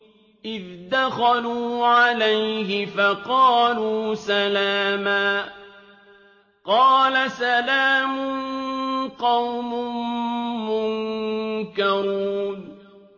إِذْ دَخَلُوا عَلَيْهِ فَقَالُوا سَلَامًا ۖ قَالَ سَلَامٌ قَوْمٌ مُّنكَرُونَ